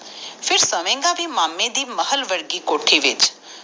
ਫੇਰ ਸੋਵੇਗਾ ਵੀ ਮਾਮੇ ਦੇ ਮਹਲ ਵਰਗੀ ਕੋਠੀ ਵਿਚ ਖੁਦ ਗਾੜਾ ਡਾਰ ਬਿਸਤਰੇ ਤੇ ਨਿਗਾਹ ਨਿਗਾਹ ਕਮਰਾ ਜਿਥੇ ਨਾ ਕਿਸੇ ਅਫਸਰ ਦੇ ਵਗੈਰ